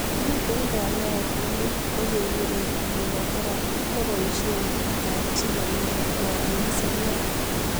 Miten kanyaet nelel negeguren immunotherapy neboisien borto ab chii nemyoni koborien seriat